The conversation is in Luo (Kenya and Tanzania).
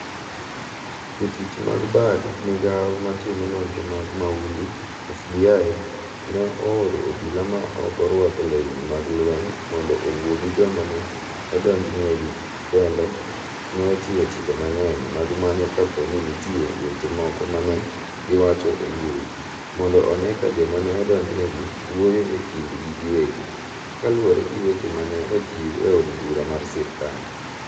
jotich mag bad migao matimo nonro mag mahundu, FBI, no ooro obila ma oko ruako lewni mag lweny mondo owuo gi joma ne odonj negi kendo ne ochiwo chike mang'eny mag manyo ka po ni nitie weche moko ma ne giwacho e mbui, mondo one ka joma ne odonj negi wuoyo e kind gi giwegi, kaluwore gi weche ma ne ochiw e od bura mar sirikal.